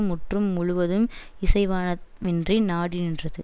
முற்று முழுவதும் இசைவானவ மிற்றினை நாடி நின்றது